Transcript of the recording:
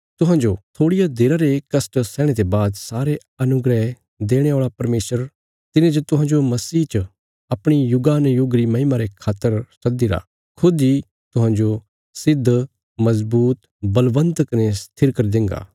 तुहांजो थोड़िया देरा रे कष्ट सैहणे ते बाद सारे अनुग्रह देणे औल़ा परमेशर तिने जे तुहांजो मसीह च अपणी युगानुयुगा री महिमा रे खातर सद्दीरा खुद इ तुहांजो सिद्ध मजबूत बलवन्त कने स्थिर करी देंगा